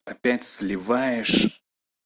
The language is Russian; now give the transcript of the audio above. опять сливаешь